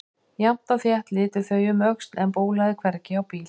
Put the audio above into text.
Jafnt og þétt litu þau um öxl en bólaði hvergi á bíl.